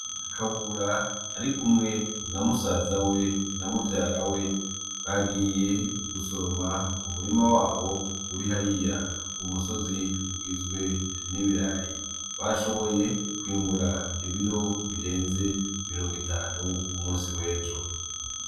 Kabura ari kumwe na musazawe na muvyarawe bagiye gusoroma umurima wabo uri hariya kumusozi ugizwe n'ibirayi bashoboye kwimbura ibiro birenze mirongwitanu kumusi w'ejo.